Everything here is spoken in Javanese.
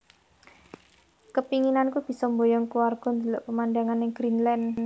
Kepinginanku biso mboyong keluargo ndelok pemandangan ning Greendland